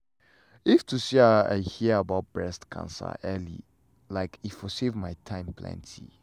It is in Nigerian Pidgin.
if to say i hear about breast cancer early like e for save my time plenty.